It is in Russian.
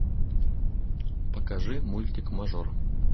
покажи мультик мажор